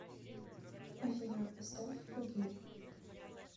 афина поставь форгив